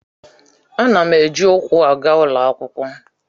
Ana m eji ụkwụ aga ụlọ akwụkwọ.